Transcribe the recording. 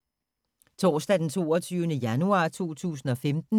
Torsdag d. 22. januar 2015